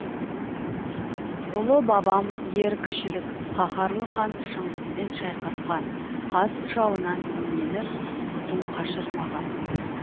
ұлы бабам ер кішілік қаһарлы хан шыңғыспен шайқасқан қас жауынан именіп құтын қашырмаған